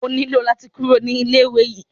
O nílò láti kúrò ní ilé ìwé yìí.